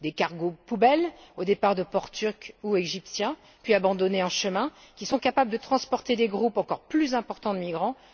Des cargos poubelles, au départ de ports turcs ou égyptiens, abandonnés en chemin, qui sont capables de transporter des groupes encore plus importants de migrants.